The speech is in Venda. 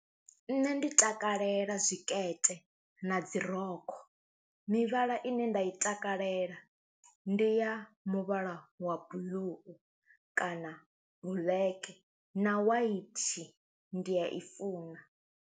Nṋe ndi takalela zwikete na dzi rokho, mivhala ine nda i takalela ndi ya muvhala wa blue kana black na white ndi ya i funa.